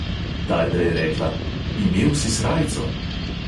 Tajda je rekla: imel si srajco.